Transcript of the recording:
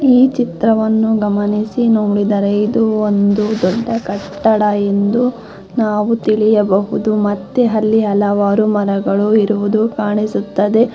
ಈ ಚಿತ್ರವನ್ನು ಗಮನಿಸಿ ನೋಡಿದರೆ ಇದು ಒಂದು ದೊಡ್ಡ ಕಟ್ಟಡ ಎಂದು ನಾವು ತಿಳಿಯಬಹುದು ಮತ್ತೆ ಅಲ್ಲಿ ಹಲವಾರು ಮರಗಳು ಇರುವುದು ಕಾಣಿಸುತ್ತದೆ.